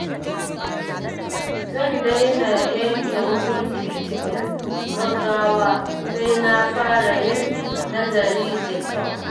Zan daina yanke hukunci cikin gaggawa, sai na fara yin nazari da kyau.